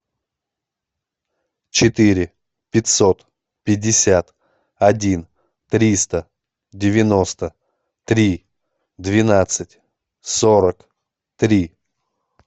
четыре пятьсот пятьдесят один триста девяносто три двенадцать сорок три